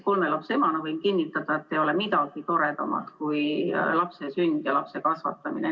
Kolme lapse emana võin kinnitada, et ei ole midagi toredamat kui lapse sünd ja lapse kasvatamine.